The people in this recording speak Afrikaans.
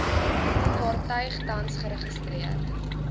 vaartuig tans geregistreer